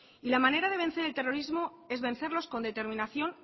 y la manera de vencer al terrorismo es vencerlos con determinación